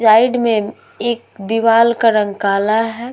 Side में एक दीवार का रंग काला है।